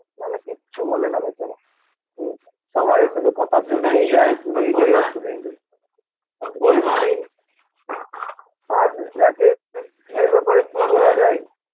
না হলে কিচ্ছু বলে না বেচারা হুম সবাইএর শুধু কথা শুনেই যায়, শুনেই যায়, আর শুনেই যায় এমনি আর রাকেশ এর ব্যাপারে কি বলা যায়